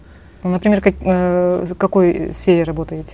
например ыыы в какой сфере работаете